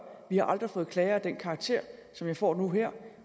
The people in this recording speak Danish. vi har aldrig fået klager af den karakter som jeg får nu her